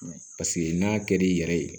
Paseke n'a ka di i yɛrɛ ye